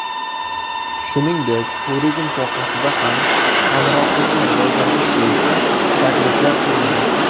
Shuningdek, turizm sohasida ham hamkorlikni rivojlantirish bo‘yicha takliflar ko‘rildi.